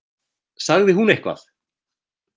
Sagði hún eitthvað?